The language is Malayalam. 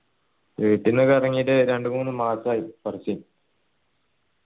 വീട്ടീന്നൊക്കെ ഇറങ്ങീട്ട് രണ്ട് മൂന്ന് മാസായി ഫർസി